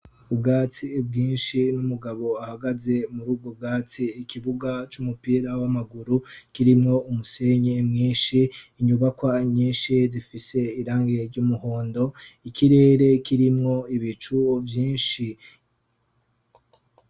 Ubwatsi bwinshi n'umugabo ahagaze muri ubwo bwatsi, ikibuga c'umupira w'amaguru kirimwo umusenyi mwinshi, inyubakwa nyinshi zifise irangi ry'umuhondo, ikirere kirimwo ibicu vyinshi.